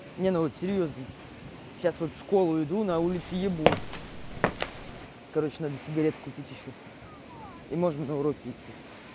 не ну вот серьёзно сейчас вот в школу иду на улице ебун короче надо сигареты купить ещё и можно на уроки идти